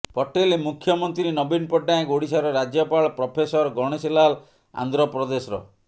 ପଟେଲ ମୁଖ୍ୟମନ୍ତ୍ରୀ ନବୀନ ପଟ୍ଟନାୟକ ଓଡିଶାର ରାଜ୍ୟପାଳ ପ୍ରଫେସର ଗଣେଣୀ ଲାଲ ଆନ୍ଧ୍ରପ୍ରଦେଶର